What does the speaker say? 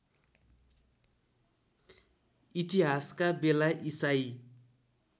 इतिहासका बेला इसाई